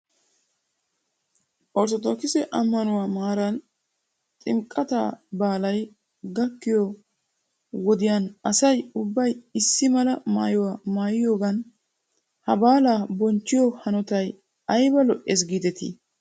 Orttodookise ammanuwaa maaran ximqqataa baalay gakkiyoo wodiyan asay ubbay issi mala maayuwaa maayiyoogan he baalaa bonchchiyoo hanotay ayba lo'es giidetii?